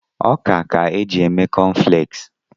Ọka ka e ji eme kọnflẹksi.